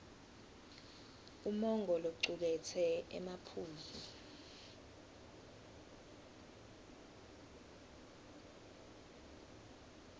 umongo locuketse emaphuzu